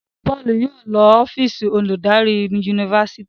Paul yóò ló ọ́fíìsì oludari Yunifásitìni.